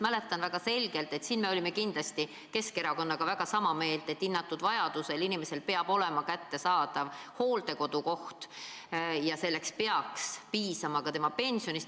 Mäletan väga selgelt, et siin me olime kindlasti Keskerakonnaga väga sama meelt, et vajadusel peab inimesel olema kättesaadav hooldekodukoht ja selleks peaks piisama ka tema pensionist.